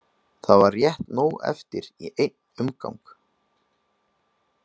Það var rétt nóg eftir í einn umgang.